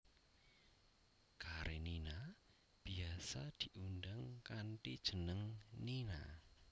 Karenina biyasa diundang kanthi jeneng Nina